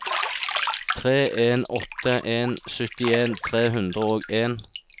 tre en åtte en syttien tre hundre og en